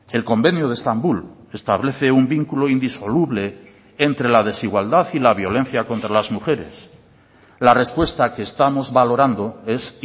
el convenio de estambul establece un vínculo indisoluble entre la desigualdad y la violencia contra las mujeres la respuesta que estamos valorando es